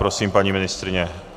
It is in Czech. Prosím, paní ministryně.